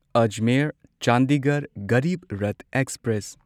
Ajmer Chandigarh Garib Rath express